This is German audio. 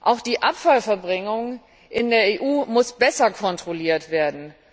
Auch die Abfallverbringung in der EU muss besser kontrolliert werden.